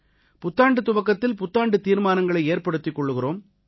புத்தாண்டுத் துவக்கத்தில் புத்தாண்டுத் தீர்மானங்களை ஏற்படுத்திக் கொள்கிறோம்